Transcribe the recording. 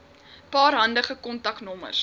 paar handige kontaknommers